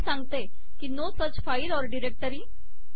ते सांगते की no such file or directory